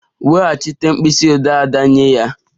Weghachite pen Ada nye ya!